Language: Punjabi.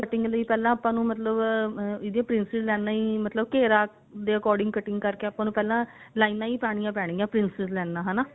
cutting ਲਈ ਪਹਿਲਾਂ ਮਤਲਬ ah ਇਹਦੀਆਂ princess ਲਾਈਨਾ ਹੀ ਮਤਲਬ ਘੇਰਾ ਦੇ according cutting ਕਰਕੇ ਪਹਿਲਾਂ ਲਾਈਨਾ ਹੀ ਪਾਉਣੀਆਂ ਪੈਣਗੀਆਂ princess ਲਾਈਨਾ ਹਨਾ